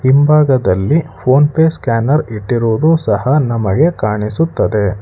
ಹಿಂಭಾಗದಲ್ಲಿ PhonePe scanner ಇಟ್ಟಿರುವುದು ಸಹಾ ನಮಗೆ ಕಾಣಿಸುತ್ತದೆ.